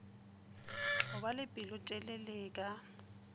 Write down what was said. go ba le pelotelele ka